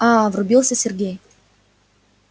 аа врубился сергей